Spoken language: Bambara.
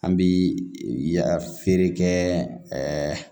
An bi ya feere kɛ